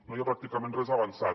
no hi ha pràcticament res avançat